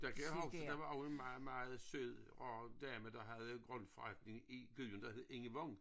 Der kan jeg huske der var også en meget meget sød rar dame der havde en grøntforretning i byen der hed Inge Vang